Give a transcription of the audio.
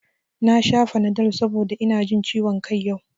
Na sha fanadol saboda ina jin ciwon kai yau